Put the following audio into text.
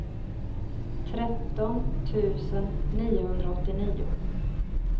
tretton tusen niohundraåttionio